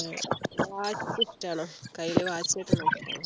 ഏർ watch ഇഷ്ടാണോ കയ്യിൽ watch കെട്ടുന്ന ഇഷ്ട